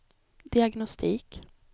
diagnostik